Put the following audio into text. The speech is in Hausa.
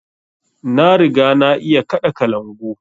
Na riga na iya kaɗa kalangu